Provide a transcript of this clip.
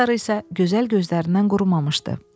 Göz yaşları isə gözəl gözlərindən qurumamışdı.